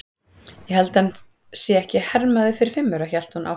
Ég held að hann sé ekki hermaður fyrir fimm aura, hélt hún áfram.